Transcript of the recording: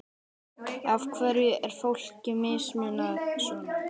Af hverju er fólki mismunað svona?